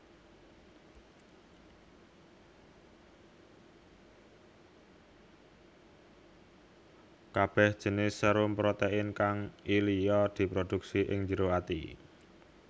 Kabeh jinis serum protein kang lliya diproduksi ing jero ati